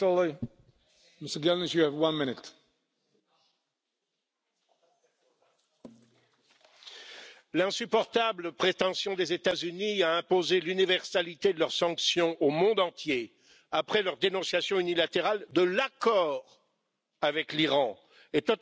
Monsieur le Président, l'insupportable prétention des États Unis à imposer l'universalité de leurs sanctions au monde entier, après leur dénonciation unilatérale de l'accord avec l'Iran, est totalement inacceptable.